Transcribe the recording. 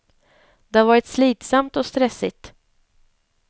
Det har varit slitsamt och stressigt.